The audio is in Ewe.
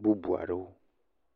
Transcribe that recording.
bubu aɖewo.